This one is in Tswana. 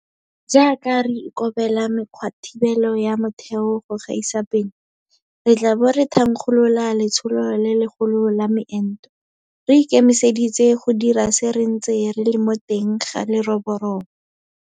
Jaaka re ikobela mekgwathibelo ya motheo go gaisa pele, re tla bo re thankgolola letsholo le legolo la meento. Re ikemiseditse go dira se re ntse re le mo teng ga leroborobo.